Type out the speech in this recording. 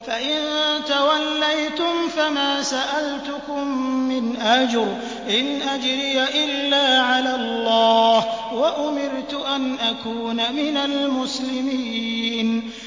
فَإِن تَوَلَّيْتُمْ فَمَا سَأَلْتُكُم مِّنْ أَجْرٍ ۖ إِنْ أَجْرِيَ إِلَّا عَلَى اللَّهِ ۖ وَأُمِرْتُ أَنْ أَكُونَ مِنَ الْمُسْلِمِينَ